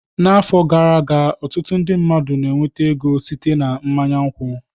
N'afọ gara aga, ọtụtụ ndị mmadụ na-enweta ego site na mmanya nkwụ.